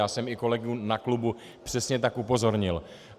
Já jsem i kolegu na klubu přesně tak upozornil.